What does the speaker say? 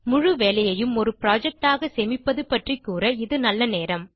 முழு வேலையையும் ஒரு புரொஜெக்ட் ஆக சேமிப்பது பற்றி கூற இது நல்ல நேரம்